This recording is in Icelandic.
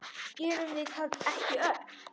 Gerum við það ekki öll?